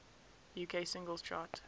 uk singles chart